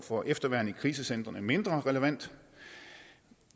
for efterværn i krisecentrene mindre relevant